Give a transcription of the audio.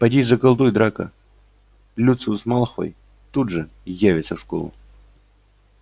поди заколдуй драко люциус малфой тут же явится в школу